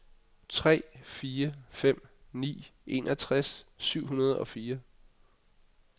tre fire fem ni enogtres syv hundrede og fire